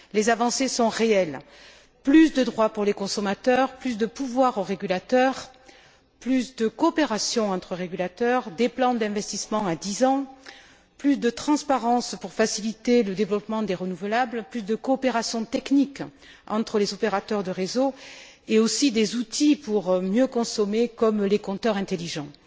Les avancées sont réelles plus de droits pour les consommateurs, plus de pouvoirs aux régulateurs, plus de coopération entre régulateurs, des plans d'investissement à dix ans, plus de transparence pour faciliter le développement des renouvelables, plus de coopération technique entre les opérateurs de réseaux, et aussi des outils pour mieux consommer, comme les compteurs intelligents.